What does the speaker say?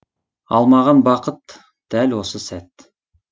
ал маған бақыт дәл осы сәт